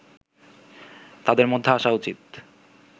তাদের মধ্যে আসা উচিত